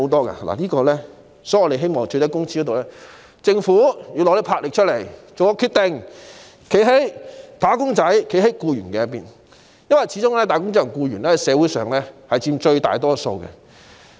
因此，在最低工資方面，我們希望政府展現魄力，作出決定，站在"打工仔"和僱員的一方，因為他們始終在社會上佔最大多數。